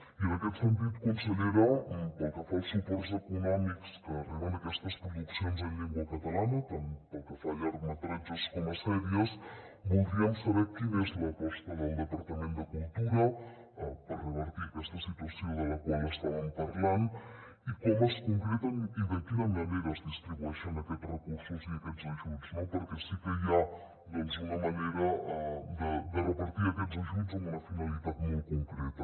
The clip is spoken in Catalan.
i en aquest sentit consellera pel que fa als suports econòmics que reben aquestes produccions en llengua catalana tant pel que fa a llargmetratges com a sèries voldríem saber quina és l’aposta del departament de cultura per revertir aquesta situació de la qual estàvem parlant i com es concreten i de quina manera es distribueixen aquests recursos i aquests ajuts no perquè sí que hi ha doncs una manera de repartir aquests ajuts amb una finalitat molt concreta